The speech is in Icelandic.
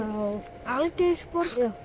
Algeirsborg